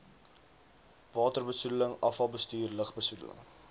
waterbesoedeling afvalbestuur lugbesoedeling